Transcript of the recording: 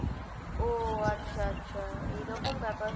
ও আচ্ছা আচ্ছা এইরকম ব্যাপার,